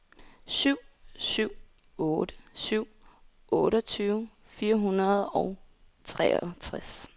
syv syv otte syv otteogtyve fire hundrede og treogtres